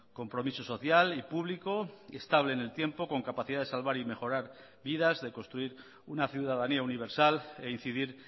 compromiso social y público estable en el tiempo con capacidad de salvar y mejorar vidas de construir una ciudadanía universal e incidir